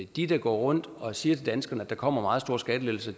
de der går rundt og siger til danskerne at der kommer meget store skattelettelser